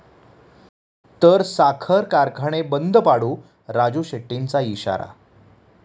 ...तर साखर कारखाने बंद पाडू, राजू शेट्टींचा इशारा